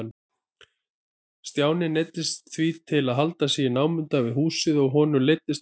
Stjáni neyddist því til að halda sig í námunda við húsið og honum leiddist ógurlega.